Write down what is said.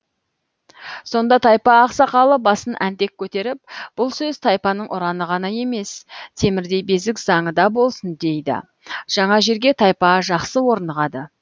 сонда тайпа ақсақалы басын әнтек көтеріп бұл сөз тайпаның ұраны ғана емес темірдей безік заңы да болсын дейді жаңа жерге тайпа жақсы орнығады